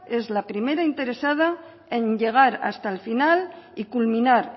es la primera interesada en llegar hasta el final y culminar